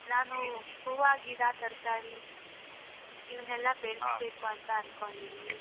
ನಾನು ಹೂವ ಗಿಡ ತರ್ಕಾರಿ ಇವನ್ನೆಲ್ಲ ಬೆಳೆ ಅಂತ ಅನ್ಕೊಂಡಿದೀನಿ.